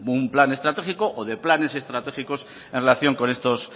un plan estratégico o de planes estratégicos en relación con estos